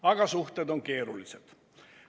Aga suhted on keerulised.